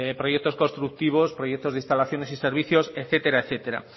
proyectos constructivos proyectos de instalaciones y servicios etcétera